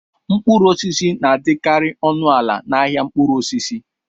Mkpụrụ osisi na-adịkarị ọnụ ala n'ahịa mkpụrụ osisi.